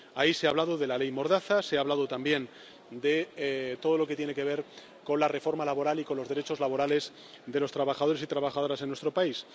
Ahí se ha hablado de la ley mordaza, se ha hablado también de todo lo que tiene que ver con la reforma laboral y con los derechos laborales de los trabajadores y trabajadoras en nuestro país.